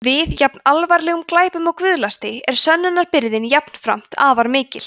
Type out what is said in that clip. við jafn alvarlegum glæpum og guðlasti er sönnunarbyrðin jafnframt afar mikil